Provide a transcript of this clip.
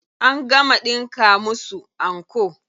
An gama ɗinka musu anko.